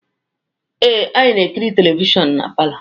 Ee, anyị na-ekiri televishọnụ na palọ.